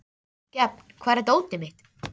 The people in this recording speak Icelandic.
Gefn, hvar er dótið mitt?